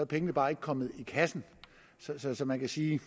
pengene bare ikke kommet i kassen så så man kan sige